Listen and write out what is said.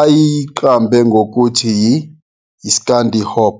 ayeyiqambe ngikuthi yi-"skandihop.